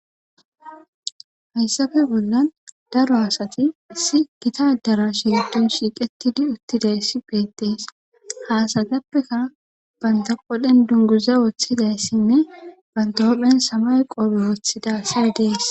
Hayssape bollan daro asati issi gita adaraashe giddon shiiqettidi uttidayssi beetes ha asatapekka banta qodhen dunguza wothidayssine banta huuphen samaye qobe wothida asay de7ees.